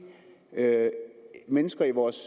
nødt